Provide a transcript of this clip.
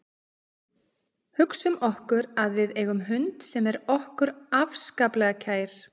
Hugsum okkur að við eigum hund sem er okkur afskaplega kær.